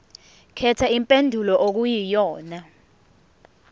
khetha impendulo okuyiyona